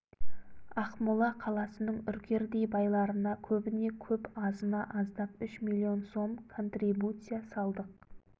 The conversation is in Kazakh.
ақмола қаласының үркердей байларына көбіне көп азына аздап үш миллион сом контрибуция салдық